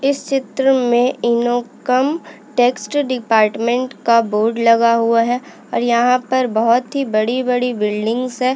इस चित्र में इनकम टेक्स्ट डिपार्टमेंट का बोर्ड लगा हुआ है और यहाँ पर बहोत ही बड़ी बड़ी बिल्डिंग्स है।